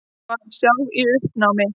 Var sjálf í uppnámi.